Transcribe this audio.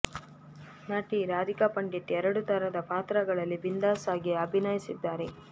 ನಟಿ ರಾಧಿಕಾ ಪಂಡಿತ್ ಎರಡೂ ತರದ ಪಾತ್ರಗಳಲ್ಲಿ ಬಿಂದಾಸ್ ಆಗಿ ಅಭಿನಯಿಸಿದ್ದಾರೆ